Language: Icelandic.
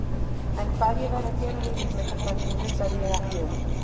En hvað ég væri að gera við líf mitt og framtíð hugsaði ég ekki um.